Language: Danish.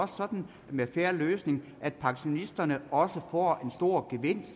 sådan med en fair løsning at pensionisterne også får en stor gevinst